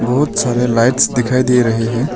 बहुत सारे लाइट्स दिखाई दे रहे हैं।